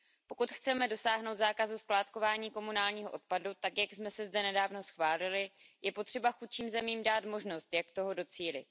Pokud chceme dosáhnout zákazu skládkování komunálního odpadu tak, jak jsme si zde nedávno schválili, je potřeba chudším zemím dát možnost, jak toho docílit.